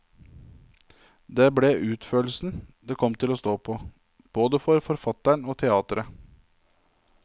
Det ble utførelsen det kom til å stå på, både for forfatteren og teatret.